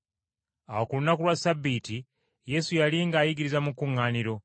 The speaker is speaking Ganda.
Awo ku lunaku lwa Ssabbiiti Yesu yali ng’ayigiriza mu kkuŋŋaaniro,